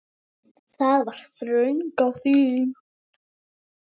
Það var þröng á þingi.